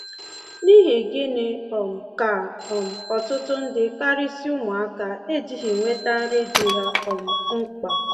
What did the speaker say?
N’ihi gịnị um ka um ọtụtụ ndị — karịsịa ụmụaka — ejighị enweta nri dị ha um mkpa?